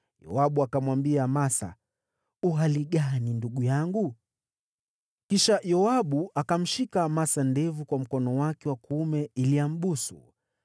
Yoabu akamwambia Amasa, “U hali gani, ndugu yangu?” Kisha Yoabu akamshika Amasa ndevu kwa mkono wake wa kuume ili ambusu.